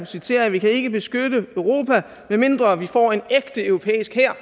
citerer jeg vi kan ikke beskytte europa medmindre vi får en ægte europæisk hær